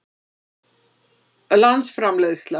landsframleiðsla